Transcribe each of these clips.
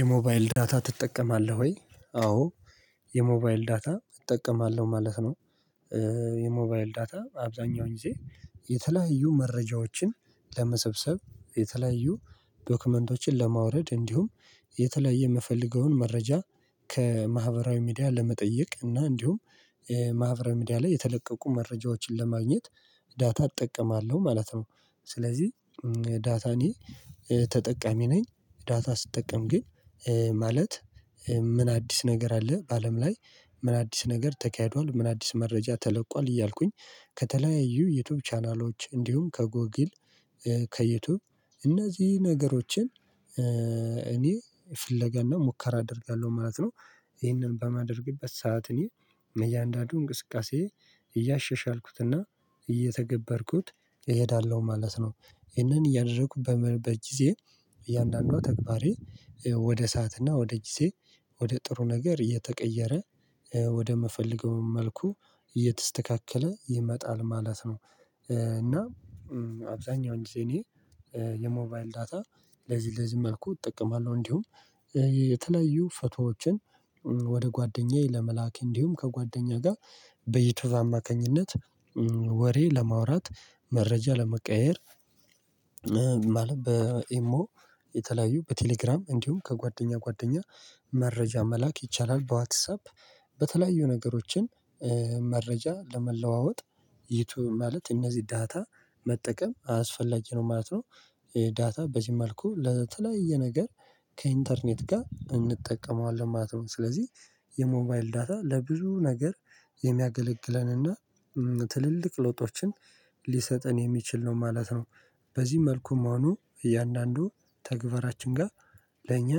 የሞባይል ዳታ ትጠቀማለህ? ወይ አዎ የሞባይል ዳታ እጠቀማለሁ ማለት ነው። የሞባይል ዳታ አብዛኛውን ጊዜ የተለያዩ መረጃዎችን ለመሰብሰብ የተለያዩ ዶክመንቶችን ለማውረድ እንዲሁም የተለያየ የምፈልገውን መረጃ ከማህበራዊ ሚዲያ ለመጠየቅ እና እንዲሁም ማህበራዊ ሚዲያ ላይ የተለቀቁ መረጃዎችን ለማግኘት ዳታ እጠቀማለሁ ማለት ነው። ስለዚህ ዳታ እኔ ተጠቃሚ ነኝ። ዳታ ስጠቀም ግን ማለት ምን አዲስ ነገር አለ በአለም ላይ? ምን አዲስ ነገር ተካሄዷል ምን አዲስ መረጃ ተለቋል እያልኩኝ ከተለያዩ የዩቲዩብ ቻናሎች እንዲሁም ከጎጊል ከዩቲዩብ ነገሮችን እኔ ፍለጋና ሙከራ አደርጋለሁ ማለት ነው። ይህንን በማድረግ በማድረግበት ሰዓት እኔ እያንዳንዱ እንቅስቃሴ እያሸሽ አልኩትና እየተገበርኩት እሄዳለሁ ማለት ነው። ይህንን እያደረኩ በጊዜ እያንዳንዱ ተግባሬ ወደ ሰዓትና ወደ ጊዜ ወደ ጥሩ ነገር የተቀየረ ወደ ምፍልገው መልኩ እየተስተካከለ ይመጣል ማለት ነው። እና አብዛኛው ጊዜ እኔ የሞባይል ዳታ ለዚህ ለዚህ መልኩ እጠቀማለሁ። እንዲሁም የተለያዩ ፎቶዎችን ወደ ጓደኛዬ ለመላክ እንዲሁም ከጓደኛ ጋር ዩቱዩብ አማካኝነት ወሬ ለማውራት መረጃ ለመቀየር። በኢሞ የተለያዩ በቴሌግራም እንዲሁም ከጓደኛ ጓደኛ መረጃ መላክ ይቻላል። በዋትሳፕ በተለያዩ ነገሮችን መረጃ ለመለዋወጥ ይቶ ማለት እነዚህ ዳታ መጠቀም አስፈላጊ ነው ማለት ነው። ዳታ በዚህ መልኩ ለተለያየ ነገር ከኢንተርኔት ጋር እንጠቀመዋለን ማለት ነው። ስለዚህ የሞባይል ዳታ ለብዙ ነገር የሚያገለግለንና ትልልቅ ለውጦችን ሊሰጥን የሚችል ነው ማለት ነው። በዚህ መልኩም መሆኑ እያንዳንዱ ተግባራችን ጋር ለእኛ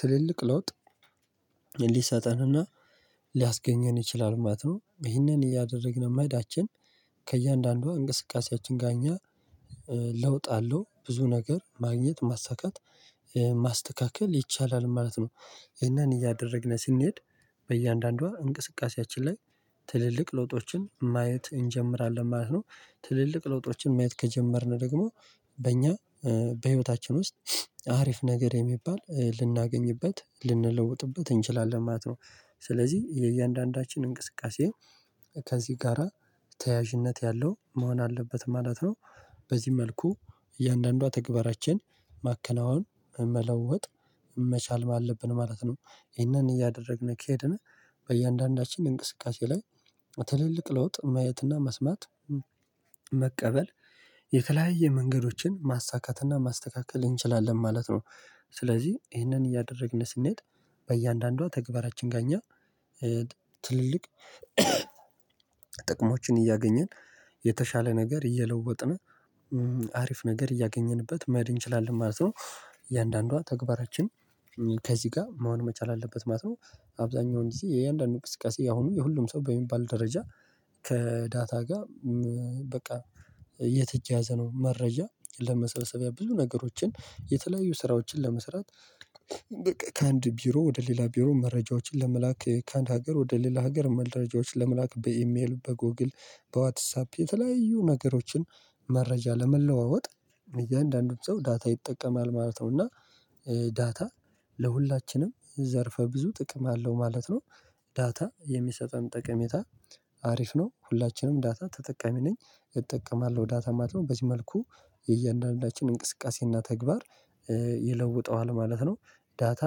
ትልልቅ ለውጥ ሊሰጠንና ሊያስገኘን ይችላል ማለት ነው። ይህንን እያደረግን መሄዳችን ከእያንዳንዷ እንቅስቃሴያችን ጋር እኛ ለውጥ አለው ብዙ ነገር ማግኘት ማሳካት ማስተካከል ይቻላል ማለት ነው። ይሄንን እያደረግን ስንሄድ በእያንዳንዷ እንቅስቃሴያችን ላይ ትልልቅ ለውጦችን ማየት እንጀምራለን ማለት ነው። ትልልቅ ለውጦችን ማየት ከጀመርን ደግሞ በእኛ በህይወታችን ውስጥ አሪፍ ነገር የሚባል ልናገኝበት ልንለውጥበት እንችላለን ማለት ነው። ስለዚህ የእያንዳንዳችን እንቅስቃሴ ከዚህ ጋራ ተያያዥነት ያለው መሆን አለበት ማለት ነው። በዚህ መልኩ እያንዳንዷ ተግባራችን ማከናወን መለወጥ መቻል ማለብን ማለት ነው። ይህንን እያደረግን ከሄድን በእያንዳንዳችን እንቅስቃሴ ላይ ትልልቅ ለውጥ ማየትና መስማት መቀበል የተለያየ መንገዶችን ማሳካትና ማስተካከል እንችላለን ማለት ነው። ስለዚህ ይህንን እያደረግን ስንሄድ በእያንዳንዷ ተግባራችን ጋር እኛ ትልልቅ ጥቅሞችን እያገኘን የተሻለ ነገር እየለወጥን አሪፍ ነገር እያገኘንበት መሄድ እንችላለን ማለት ነው። እያንዳንዷ ተግባራችን ከዚህ ጋር መሆን መቻል አለበት ማለት ነው። አብዛኛው ጊዜ የእያንዳንዱ ቅስቀሴ አሁን የሁሉም ሰው በሚባል ደረጃ ከዳታ ጋር በቃ የተያያዘ ነው። መረጃ ለመሰብሰቢያ ብዙ ነገሮችን የተለያዩ ስራዎችን ለመስራት ከአንድ ቢሮ ወደ ሌላ ቢሮ መረጃዎችን ለመላክ ከአንድ ሀገር ወደ ሌላ ሀገር መረጃዎች ለመላክ በኢሜል በጎግል በዋትሳፕ የተለያዩ ነገሮችን መረጃ ለመለዋወጥ እያንዳንዱን ሰው ዳታ ይጠቀማል ማለት ነው። እና ዳታ ለሁላችንም ዘርፈ ብዙ ጥቅም አለው ማለት ነው። ዳታ የሚሰጠን ጠቀሜታ አሪፍ ነው ሁላችንም ዳታ ተጠቃሚ ነኝ እጠቀማለሁ ዳታ ማለት ነው። በዚህ መልኩ እያንዳንዳችን እንቅስቃሴና ተግባር ይለውጠዋል ማለት ነው። ዳታ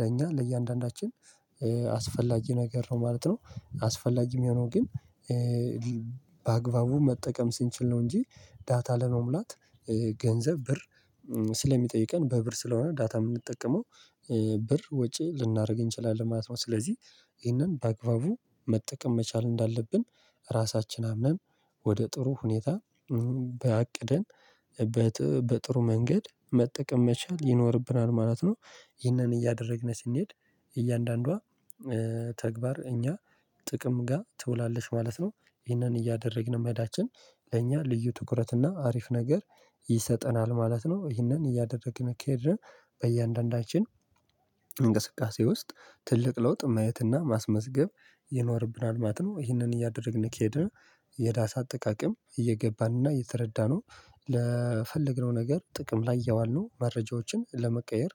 ለኛ ለእያንዳንዳችን አስፈላጊ ነገር ነው ማለት ነው። አስፈላጊ የሚሆነው ግን በአግባቡ መጠቀም ስንችል ነው። እንጂ ዳታ ለመሙላት ገንዘብ ብር ስለሚጠይቀን በብር ስለሆነ ዳታ የምንጠቀመው ብር ወጪ ልናደርግ እንችላለን ማለት ነው። ስለዚህ ይህንን በአግባቡ መጠቀም መቻል እንዳለብን ራሳችን አምነን ወደ ጥሩ ሁኔታ በአቅደን በጥሩ መንገድ መጠቀም መቻል ይኖርብናል ማለት ነው። ይህንን እያደረግን ስንሄድ እያንዳንዷ ተግባር እኛ ጥቅም ጋር ትውላለች ማለት ነው። ይህንን እያደረግን መሄዳችን ለእኛ ልዩ ትኩረት እና አሪፍ ነገር ይሰጠናል ማለት ነው። ይህንን እያደረግን እንኬድን በእያንዳንዳችን እንቅስቃሴ ውስጥ ትልቅ ለውጥ ማየትና ማስመዝገብ ይኖርብናል ማለት ነው። ይህንን እያደረግን ከሄደን የዳታ አጠቃቀም እየገባንና እየተረዳነው ለፈለግነው ነገር ጥቅም ላይ እያዋልነው መረጃዎችን ለመቀየር